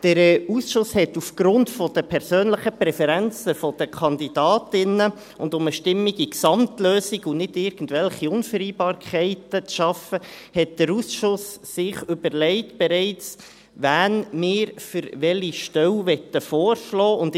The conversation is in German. Der Ausschuss hat sich aufgrund der persönlichen Präferenzen der Kandidatinnen, und um eine stimmige Gesamtlösung und nicht irgendwelche Unvereinbarkeiten zu schaffen, bereits überlegt, wen wir für welche Stelle vorschlagen möchten.